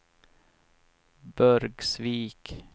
Burgsvik